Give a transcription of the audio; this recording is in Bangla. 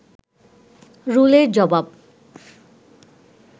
রুলের জবাব